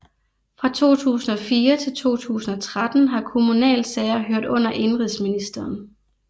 Fra 2004 til 2013 har kommunalsager hørt under indenrigsministeren